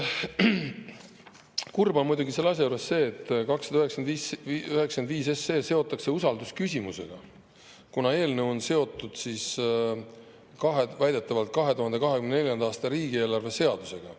Kurb on muidugi selle asja juures see, et 295 SE seotakse usaldusküsimusega, kuna eelnõu on väidetavalt seotud 2024. aasta riigieelarve seadusega.